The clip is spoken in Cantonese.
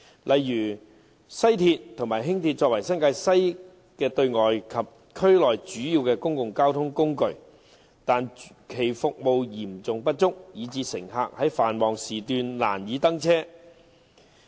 例如，西鐵和輕鐵作為新界西的對外及區內主要公共交通工具，但其服務嚴重不足，以致乘客在繁忙時段難以登車。